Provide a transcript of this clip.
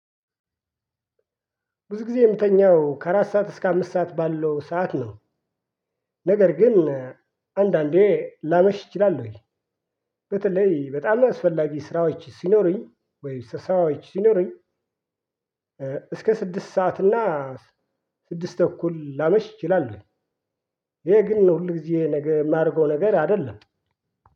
ብዙ ጊዜ ምተኛው ከአራት ሰዓት እስከ አምስት ሰዓት ባለው ሰዓት ነው። ነገር ግን አንዳንዴ ላመሽ እችላለሁኝ። በተለይ በጣም አስፈላጊ ስራዎች ሲኖሩኝ ወይ ስ ስራዎች ሲኖሩኝ። እስከ ስድስት ሰዓት እና ስድስት ተኩል ላመሽ እችላለሁኝ። ይሄ ግን ሁልጊዜ ነገ ማረገው ነገር አይደለም።